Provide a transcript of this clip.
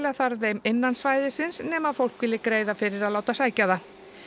þarf þeim innan svæðisins nema ef fólk vill greiða fyrir að láta sækja það